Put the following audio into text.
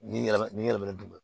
Ni yɛlɛma ni yɛlɛmɛ dun